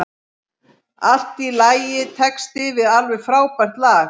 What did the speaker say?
Allt í lagitexti við alveg frábært lag.